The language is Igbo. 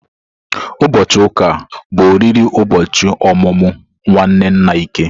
Ụbọchị ụka a, bụ oriri ụbọchị ọmụmụ nwanne nna Ike.